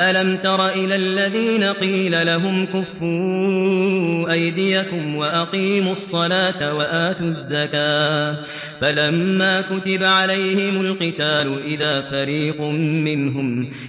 أَلَمْ تَرَ إِلَى الَّذِينَ قِيلَ لَهُمْ كُفُّوا أَيْدِيَكُمْ وَأَقِيمُوا الصَّلَاةَ وَآتُوا الزَّكَاةَ فَلَمَّا كُتِبَ عَلَيْهِمُ الْقِتَالُ